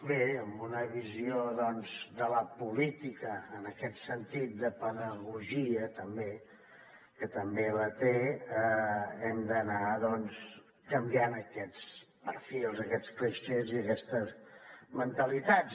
bé amb una visió de la política en aquest sentit de pedagogia també que també la té hem d’anar canviant aquests perfils aquests clixés i aquestes mentalitats